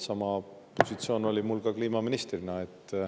Sama positsioon oli mul ka kliimaministrina.